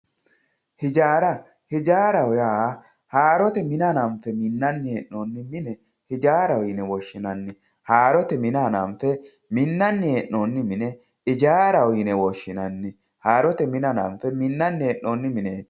ijara ijaraho ya horote mina hananfe minanni henonni minne ijaraho yine woshinanni harote minna hananfe minanni henonni minne ijaraho yine woshinanni harote mina hananfe minanni henonni mine